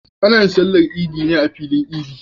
Ana yin sallar idi ne a filin idi